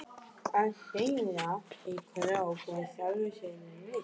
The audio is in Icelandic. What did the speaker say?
Að sigra mann í krók var í sjálfu sér list.